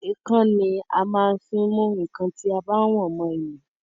Èèkàn ni a maá ń fí mú nkán ti a bá wọ̀n mọ ilé